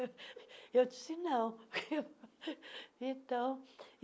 Eu disse não. então